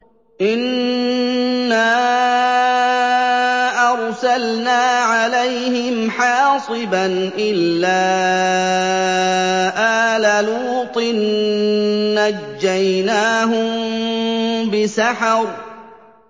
إِنَّا أَرْسَلْنَا عَلَيْهِمْ حَاصِبًا إِلَّا آلَ لُوطٍ ۖ نَّجَّيْنَاهُم بِسَحَرٍ